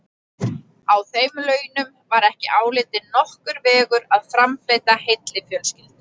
Á þeim launum var ekki álitinn nokkur vegur að framfleyta heilli fjölskyldu.